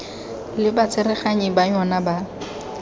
le batsereganyi ba yona ba